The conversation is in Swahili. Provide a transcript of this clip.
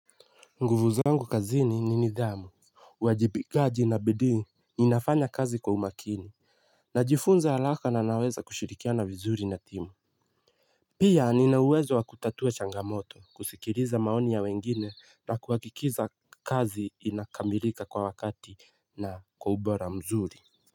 Nguvu zangu kazini ni nidhamu uwajibikaji na bidii. Ninafanya kazi kwa umakini. Najifunza halaka na anaweza kushirikiana vizuri na timu. Pia nina uwezo wa kutatua changamoto kusikiriza maoni ya wengine na kuwakikiza kazi inakamilika kwa wakati na kwa ubora mzuri.